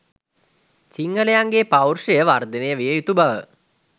සිංහලයන්ගේ පෞරුෂය වර්ධනය විය යුතු බව